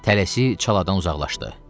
Tələsi çaladan uzaqlaşdı.